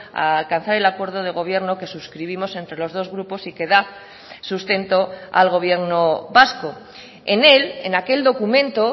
a alcanzar el acuerdo de gobierno que suscribimos entre los dos grupos y que da sustento al gobierno vasco en él en aquel documento